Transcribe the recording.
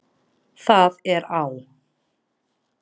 Það er á